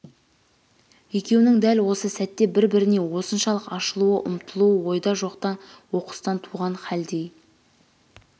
екеуінең дәл осы сәтте бір-біріне осыншалық ашылуы ұмтылуы ойда жоқтан оқыстан туған халдей